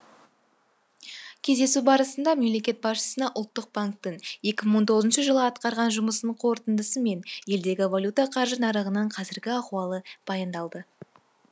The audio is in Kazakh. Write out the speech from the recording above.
кездесу барысында мемлекет басшысына ұлттық банктің екі мың он тоғызыншы жылы атқарған жұмысының қорытындысы мен елдегі валюта қаржы нарығынан қазіргі ахуалы баяндалды